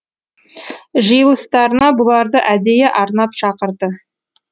жиылыстарына бұларды әдейі арнап шақырды